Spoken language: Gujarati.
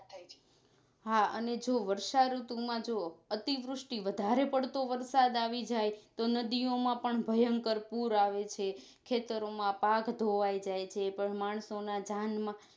હા અને જો વર્ષા ઋતુ માં જોવો અતિવૃષ્ટિ વધારે પડતો વરસાદ આવી જાય તો નદીઓંમાં પણ ભયંકર પુર આવે છે ખેતરો માં પાક ધોવાઇ જાય છે પણ માણસો ના જાનમાં